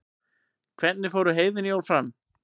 hvernig fóru heiðin jól fram